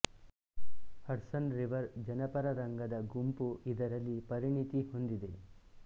ಹಡ್ಸ್ ನ್ river ಜನಪರ ರಂಗದ ಗುಂಪು ಇದರಲ್ಲಿ ಪರಿಣಿತಿ ಹೊಂದಿದೆ